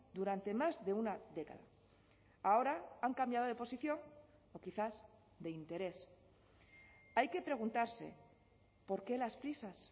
durante más de una década ahora han cambiado de posición o quizás de interés hay que preguntarse por qué las prisas